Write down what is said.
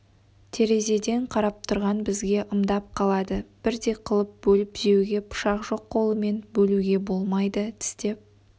терезеден қарап тұрған бізге ымдап қалады бірдей қылып бөліп жеуге пышақ жоқ қолымен бөлуге болмайды тістеп